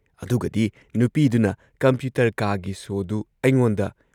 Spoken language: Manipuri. ꯑꯗꯨꯒꯗꯤ ꯅꯨꯄꯤꯗꯨꯅ ꯀꯝꯄ꯭ꯌꯨꯇꯔ ꯀꯥꯒꯤ ꯁꯣꯗꯨ ꯑꯩꯉꯣꯟꯗ